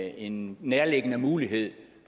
en nærliggende mulighed